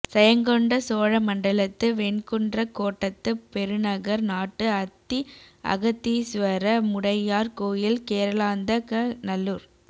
செயங்கொண்ட சோழ மண்டலத்து வெண்குன்றக் கோட்டத்துப் பெருநகர் நாட்டு அத்தி அகத்தீசுவர முடையார் கோயில் கேரளாந்தகநல்லூர்